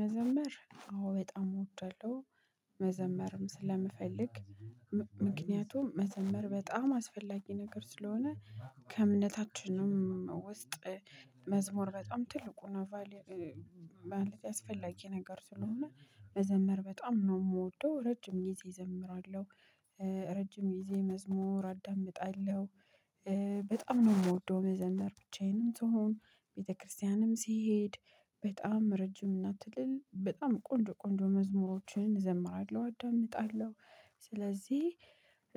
መዘመር አዎ በጣም እወዳለሁ መዘመርም ስለምፈልግ ምክንያቱም መዘምር በጣም አስፈላጊ ነገር ስለሆነ። ከእምነታችንም ውስጥ እ መዝሙር በጣም ትልቁን ቫሉይ እ አስፈላጊ ነገር ስለሆነ መዘመር በጣም ነው የምወደው ረጅም ጊዜ እዘምራለሁ። እ ረጅም ጊዜ መዝሙር አዳምጣለሁ። እ በጣም ነው የምወደው መዘመር ብቻዬንም ስሆን ቤተክርስቲያንም ስሄድ በጣም ረጅም እና ትልል በጣም ቆንጆ ቆንጆ መዝሙሮችን እዘምራለሁ አዳምጣለሁ። ስለዚህ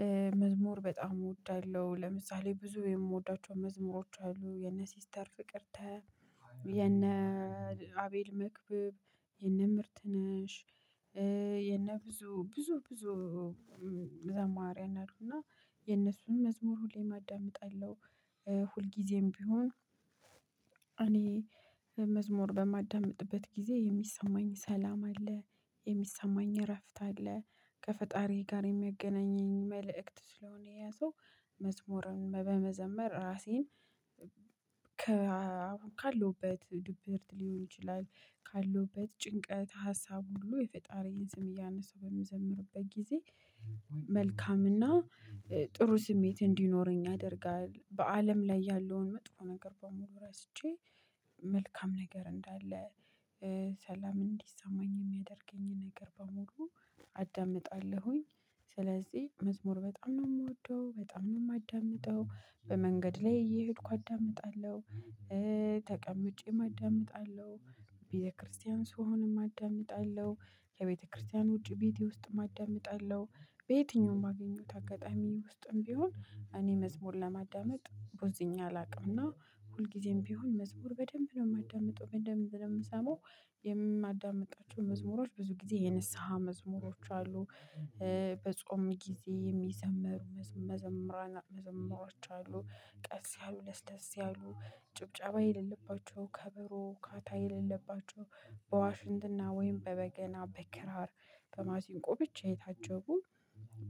እ መዝሙር በጣም እወዳለሁ። ለምሳሌ ብዙ የምወዳቸው መዝሙሮች አሉ የነ ሲስተር ፍቅርተ። የነ አቤል መክበብ የነ ምርት ነሽ እ የ የነ ብዙ ብዙ ብዙ። እ ዘማሪያ አሉና የነሱን መዝሙር ሁሌም አዳምጣለው። እ ሁልጊዜም ቢሆን እኔ መዝሙር በማዳምጥበት ጊዜ የሚሰማኝ ሰላም አለ የሚሰማኝ እረፍት አለ ከፈጣሪ ጋር የሚያገናኘኝ መልእክት ስለሆነ የያዘው። መዝሙርን በመዘመር ራሴን ከ ካለሁበት ድብርት ሊሆን ይችላል። ካለሁበት ጭንቀት ሀሳብ ሁሉ የፈጣሪን ስም እያነሳሁ በምዘምርበት ጊዜ። መልካምና እ ጥሩ ስሜት እንዲኖረኝ ያደርጋል በአለም ላይ ያለውን መጥፎ ነገር በሙሉ ረስቼ መልካም ነገር እንዳለ። እ ሰላም እንዲሰማኝ የሚያደርገኝን ነገር በሙሉ አዳምጣለሁኝ። ስለዚህ መዝሙር በጣም ነው የምወደው በጣም ነው የማዳምጠው። በመንገድ ላይ እየሄድኩ አዳምጣለሁ እ ተቀምጬም አዳምጣለሁ ቤተክርስቲያን ስሆንም አዳምጣለሁ ከቤተክርስቲያን ውጪ ቤቴ ውስጥም አዳምጣለሁ። በየትኛውም ባገኘሁት አጋጣሚ ውስጥም ቢሆን እኔ መዝሙር ለማዳመጥ ቦዝኜ አላውቅምና ሁልጊዜም ቢሆን መዝሙር በደንብ ነው የማዳምጠው በደንብ ነው የምሰማው። የማዳምጣቸው መዝሙሮች ብዙ ጊዜ የንስሃ መዝሙሮች አሉ። እ በጾም ጊዜ የሚዘመሩ መዘመራን መዘመሮች አሉ ቀስ ያሉ ለስለስ ያሉ ጭብጨባ የሌለባቸው ከበሮ ካታ የሌለባቸው። በዋሽንትና ወይም በበገና በክራር በማሲንቆ ብቻ የታጀቡ።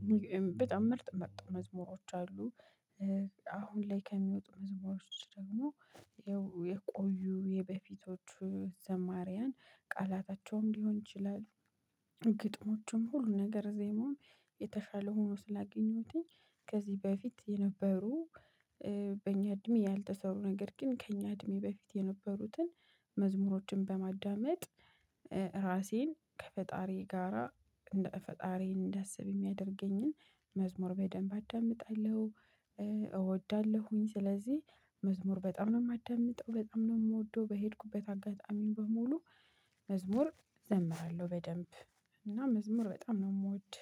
እ በጣም ምርጥ ምርጥ መዝሙሮች አሉ። አሁን ላይ ከሚወጡ መዝሙሮች ደግሞ የቆዩ የበፊቶቹ ዘማሪያን ቃላታቸውም ሊሆን ይችላል። ግጥሞቹም ሁሉ ነገር ዜማውም የተሻለ ሆኖ ስላገኘሁትኝ። ከዚህ በፊት የነበሩ እ በእኛ እድሜ ያልተሰሩ ነገር ግን ከእኛ እድሜ በፊት የነበሩትን። መዝሙሮችን በማዳመጥ እ ራሴን ከፈጣሪ ጋራ እንደ ፈጣሪን እንዳስብ የሚያደርገኝን መዝሙር በደንብ አዳምጣለሁ። እ እወዳለሁኝ ስለዚህ መዝሙር በጣም ነው የማዳምጠው በጣም ነው የምወደው። በሄድኩበት አጋጣሚ በሙሉ መዝሙር ዘምራለሁ በደንብ። እና መዝሙር በጣም ነው የምወድ